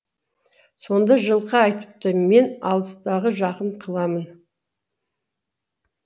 сонда жылқы айтыпты мен алыстағы жақын қыламын